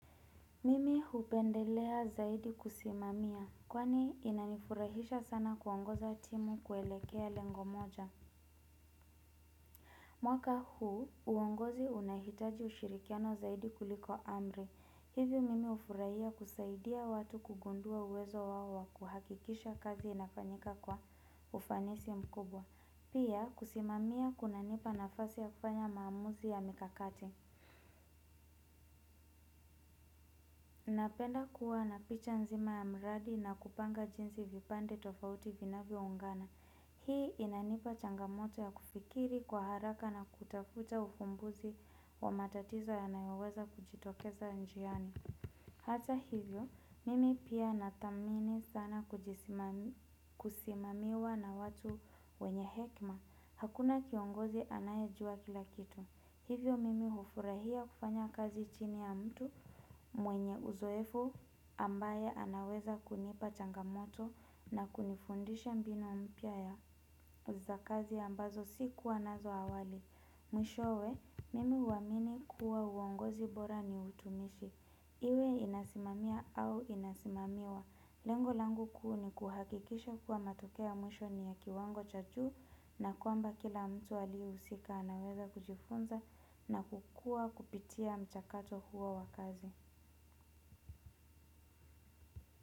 Mimi hupendelea zaidi kusimamia, kwani inanifurahisha sana kuongoza timu kuelekea lengo moja. Mwaka huu, uongozi unahitaji ushirikiano zaidi kuliko amri. Hivyo mimi ufurahia kusaidia watu kugundua uwezo wao kuhakikisha kazi inafanyika kwa ufanisi mkubwa. Pia kusimamia kunanipa nafasi ya kufanya maamuzi ya mikakati. Napenda kuwana picha nzima ya mradi na kupanga jinsi vipande tofauti vinavyoungana. Hii inanipa changamoto ya kufikiri kwa haraka na kutafuta ufumbuzi wa matatizo yanayoweza kujitokeza njiani. Hata hivyo, mimi pia nathamini sana kusimamiwa na watu wenye hekima. Hakuna kiongozi anaye jua kila kitu. Hivyo mimi hufurahia kufanya kazi chini ya mtu mwenye uzoefu ambaye anaweza kunipa changamoto na kunifundisha mbinu mpya ya uzakazi ambazo si kuwa nazo awali. Mwishowe, mimi uamini kuwa uongozi bora ni utumishi. Iwe inasimamia au inasimamiwa. Lengo langu kuu ni kuhakikisha kuwa matokea ya mwisho ni ya kiwango cha juu na kwamba kila mtu aliyeusika anaweza kujifunza na kukua kupitia mchakato huo wa kazi.